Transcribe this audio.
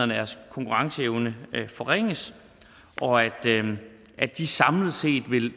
deres konkurrenceevne forringes og at de samlet set